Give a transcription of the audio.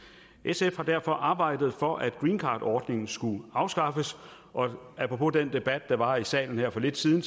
sf har derfor arbejdet for at greencardordningen skulle afskaffes og apropos den debat der var her i salen for lidt siden